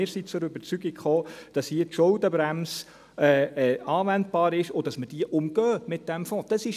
Wir sind zur Überzeugung gekommen, dass die Schuldenbremse hier anwendbar ist und dass wir diese mit dem Fonds umgehen.